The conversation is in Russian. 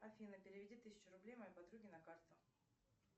афина переведи тысячу рублей моей подруге на карту